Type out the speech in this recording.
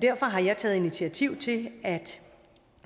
derfor har jeg taget initiativ til at